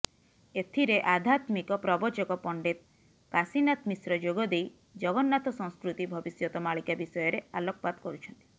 ଏଥିରେ ଆଧ୍ୟାତ୍ମିକ ପ୍ରବଚକ ପଣ୍ଡିତ କାଶୀନାଥ ମିଶ୍ର ଯୋଗଦେଇ ଜଗନ୍ନାଥ ସଂସ୍କୃତି ଭବିଷ୍ୟତ ମାଳିକା ବିଷୟରେ ଆଲୋକପାତ କରୁଛନ୍ତି